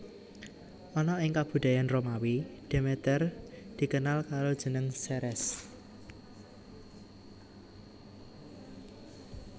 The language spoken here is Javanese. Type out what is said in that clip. Ana ing kabudayan Romawi Demeter dikenal karo jeneng Ceres